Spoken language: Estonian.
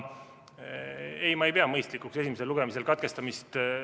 Ei, ma ei pea mõistlikuks esimese lugemise katkestamist.